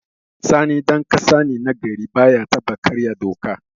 Sani ɗan ƙasa ne na gari, baya taɓa karya doka.